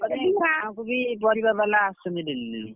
ତାପରେ ବି ଗାଁକୁ ବି ପରିବା ବାଲା ଆସୁଛି daily daily ,